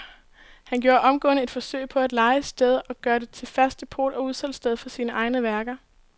Han gjorde omgående et forsøg på at leje stedet og gøre det til fast depot og udsalgssted for sine egne værker.